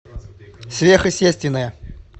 сверхъестественное